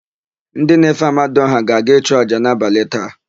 Ndị na-efe amadiọha ga-aga ịchụ àjà n'abalị taa.